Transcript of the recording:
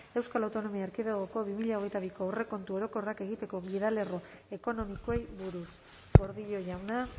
euskal autonomia erkidegoko bi mila hogeita biko aurrekontu orokorrak egiteko gidalerro ekonomikoei buruz gordillo jauna